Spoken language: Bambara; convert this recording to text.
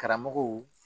Karamɔgɔw